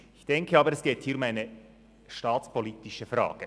Ich denke aber, dass es um eine staatspolitische Frage geht.